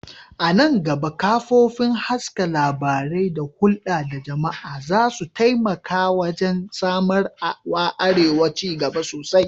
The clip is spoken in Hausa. A nan gaba, kafofin haska labarai da hulɗa da jama'a za su taimaka wajen samar wa arewa ci gaba sosai.